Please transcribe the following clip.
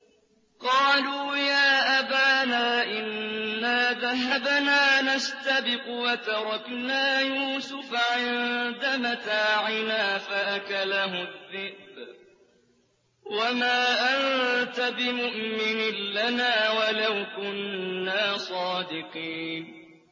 قَالُوا يَا أَبَانَا إِنَّا ذَهَبْنَا نَسْتَبِقُ وَتَرَكْنَا يُوسُفَ عِندَ مَتَاعِنَا فَأَكَلَهُ الذِّئْبُ ۖ وَمَا أَنتَ بِمُؤْمِنٍ لَّنَا وَلَوْ كُنَّا صَادِقِينَ